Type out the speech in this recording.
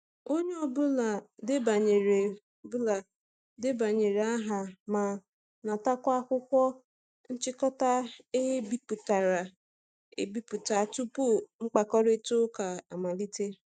Onye ọ bụla debanyere bụla debanyere aha ma natakwa akwụkwọ nchịkọta e bipụtara e biputa tupu mkpakorịta ụka amalite.